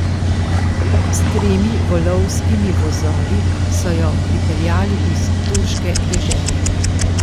S tremi volovskimi vozovi so jo pripeljali iz turške dežele.